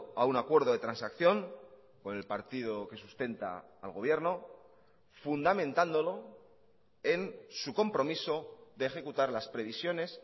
a un acuerdo de transacción con el partido que sustenta al gobierno fundamentándolo en su compromiso de ejecutar las previsiones